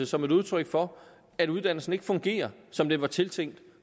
som et udtryk for at uddannelsen ikke fungerer som den var tiltænkt